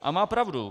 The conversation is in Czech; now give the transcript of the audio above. A má pravdu.